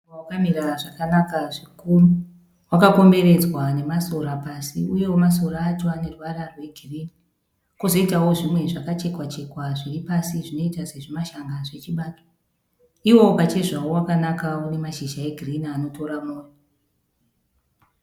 Muruva wakamira zvakanaka zvikuru. Wakakomberedzwa nemasora pasi uyewo masora acho ane ruvara rwegirini kwozoitawo zvimwe zvakachekwa -chekwa zviri pasi zvinoita semashanga zvechibage. Iwo pachezvawo wakanaka une mashizha egirini anotora mwoyo.